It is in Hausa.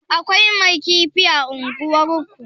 Akwai mai kifi a unguwar ku?